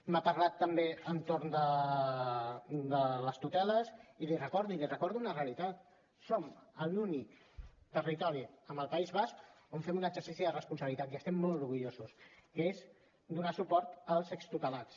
m’ha parlat també entorn de les tuteles i l’hi recordo i li recordo una realitat som l’únic territori amb el país basc on fem un exercici de responsabilitat i n’estem molt orgullosos que és donar suport als extutelats